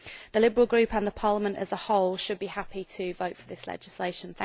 The Liberal Group, and Parliament as a whole, should be happy to vote for this legislation.